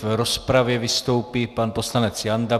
V rozpravě vystoupí pan poslanec Janda.